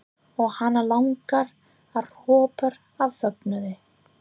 Og hana langar að hrópa af fögnuði.